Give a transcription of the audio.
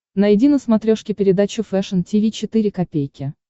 найди на смотрешке передачу фэшн ти ви четыре ка